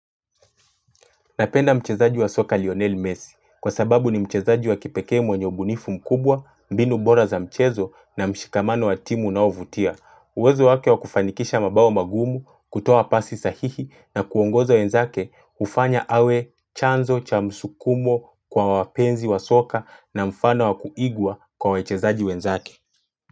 Napenda mchezaji wa soka Lionel Messi kwa sababu ni mchezaji wa kipeke mwenye ubunifu mkubwa, mbinu bora za mchezo na mshikamano wa timu unaovutia. Uwezo wake wa kufanikisha mabao magumu, kutoa pasi sahihi na kuongoza wenzake ufanya awe chanzo cha msukumo kwa wapenzi wa soka na mfano wa kuigwa kwa wechezaji wenzake.